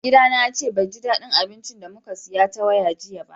Mai gida na ce bai ji daddin abincin da mun siya ta waya jiya ba.